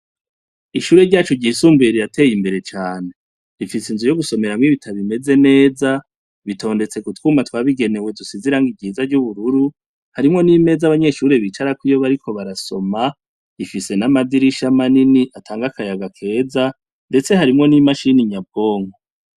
Ishure ryacu ryisumbira irateye imbere cane rifise inzu yo gusomera mwo ibitabimeze neza bitondetse gutwuma twabigenewe dusizirango igiza ry'ubururu harimwo n'imeza abanyeshuri bicarako iyo bariko barasoma ifise n'amadirishama nini atanga akayaga keza, ndetse harimwo n'imashini nyabwongo.